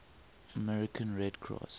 american red cross